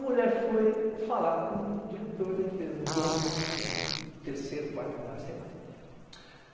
A mulher foi falar com o diretor da empresa, dono, terceiro, quarto andar, sei lá.